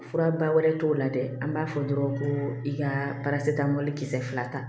Fura ba wɛrɛ t'o la dɛ an b'a fɔ dɔrɔn ko i ka ta mɔbili kisɛ fila ta